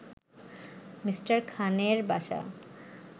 Me. খানের বাসা